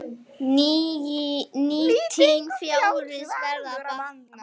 Nýting fjárins verður að batna.